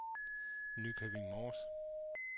Nykøbing Mors